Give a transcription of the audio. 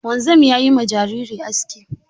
Wanzam ya yi ma jariri aski.